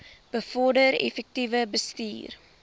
bevorder effektiewe bestuur